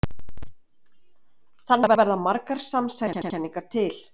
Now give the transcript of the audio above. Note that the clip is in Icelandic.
Þannig verða margar samsæriskenningar til.